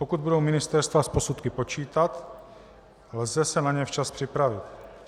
Pokud budou ministerstva s posudky počítat, lze se na ně včas připravit.